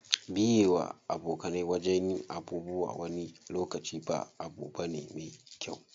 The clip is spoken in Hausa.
Biye wa abokai wajen yin abubuwa wani lokaci ba abu bane me kyau.